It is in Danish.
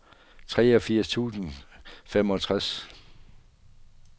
treogfirs tusind og femogtres